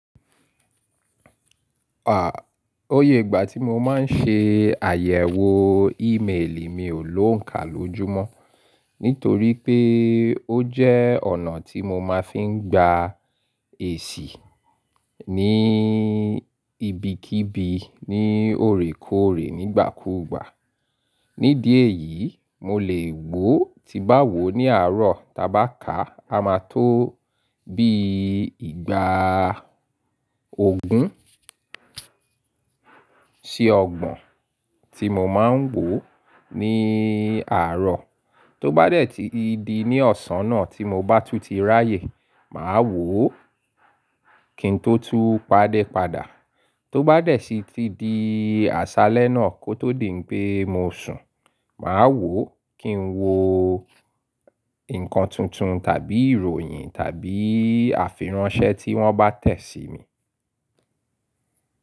À, ó yẹ ìgbà tí mo máa ń ṣe àyẹ̀wò ímeèlì mi ò lóǹka lójúmọ́. Nítorí pé ó jẹ́ ọ̀nà tí mo máa fi ń gba èṣì ní ibikíbi ní òrèkòrè nígbàkúùgbà. Nídìí èyí, mo lè wò tí bá wò ní àárọ̀ taba ká a máa tó bí ìgbà Ògún sí Ọgbọ̀n tí mo máa ń wò ní àárọ̀. Tó bá dẹ̀ tí di ní ọ̀sán náà tí mo bá tún ti ráyè, màá wò ó kín n tó tú padé padà. Tó bá dẹ̀ sí ti di àṣálẹ́ náà kó tó dèn pé mo sùn, màá wò ó kín n wo nǹkan tuntun tàbí ìròyìn tàbí àfir ànṣẹ́ tí wọ́n bá tẹ̀ síi mi.